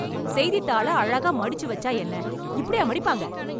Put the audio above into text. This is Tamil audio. செய்தித்தாள அழகா மடிச்சு வச்சா என்ன? இப்படியா மடிப்பாங்க?